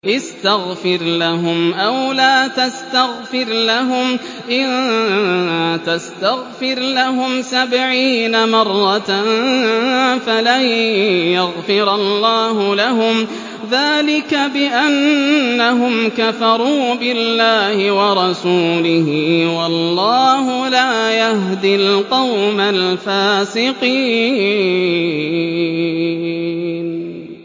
اسْتَغْفِرْ لَهُمْ أَوْ لَا تَسْتَغْفِرْ لَهُمْ إِن تَسْتَغْفِرْ لَهُمْ سَبْعِينَ مَرَّةً فَلَن يَغْفِرَ اللَّهُ لَهُمْ ۚ ذَٰلِكَ بِأَنَّهُمْ كَفَرُوا بِاللَّهِ وَرَسُولِهِ ۗ وَاللَّهُ لَا يَهْدِي الْقَوْمَ الْفَاسِقِينَ